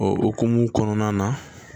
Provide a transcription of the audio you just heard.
O hukumu kɔnɔna na